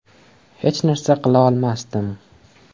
Hech narsa qila olmasdim.